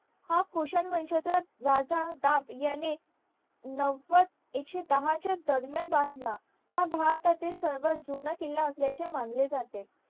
हा राजा दाब ह्यांनी नवाद एकशे दहा च्या दरम्यान बांदला हा भारतातील सर्वात जुना किल्ला असल्याचे मानले जाते